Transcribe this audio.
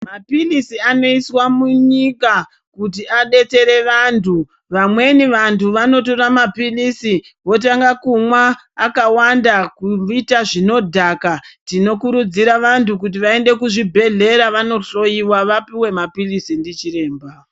Mapilisi anoiswa munyika kuti abetsere vantu ,vamweni vantu vanotora mapilisi votanga kumwa akawanda kuita zvinodhaka tinokurudzira vantu kuti vaende kuzvibhedhlera vanohloyiwa vapuwe mapilisi ndichiremba.